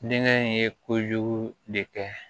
Nekɛ in ye kojugu de kɛ